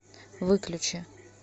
выключи